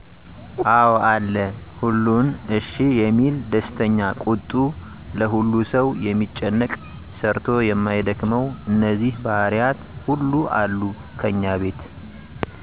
አዎ አለ። ሁሉን እሽ የሚል፤ ደስተኛ፤ ቁጡ፤ ለሁሉ ሠው የሚጨነቅ፤ ሰርቶ የማይደክመው እነዚህ ባህሪያት ሁሉ አሉ ከኛ ቤት።